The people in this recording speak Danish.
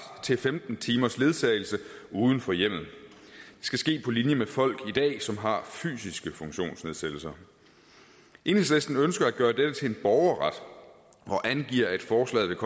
til femten timers ledsagelse uden for hjemmet på linje med folk i dag som har fysiske funktionsnedsættelser enhedslisten ønsker at gøre dette til en borgerret og angiver at forslaget